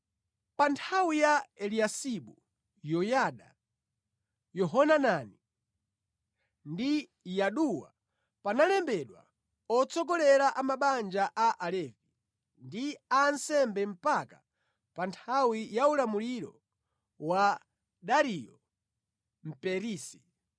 Pa nthawi ya Eliyasibu, Yoyada, Yohanani ndi Yaduwa panalembedwa atsogolera a mabanja a Alevi ndi a ansembe mpaka pa nthawi ya ulamuliro wa Dariyo Mperisi.